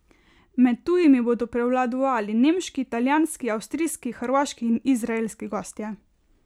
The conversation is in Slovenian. Med tujimi bodo prevladovali nemški, italijanski, avstrijski, hrvaški in izraelski gostje.